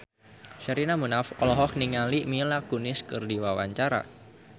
Sherina Munaf olohok ningali Mila Kunis keur diwawancara